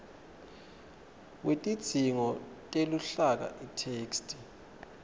wetidzingo teluhlaka itheksthi